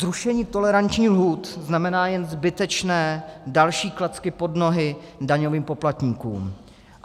Zrušení tolerančních lhůt znamená jen zbytečné další klacky pod nohy daňovým poplatníkům.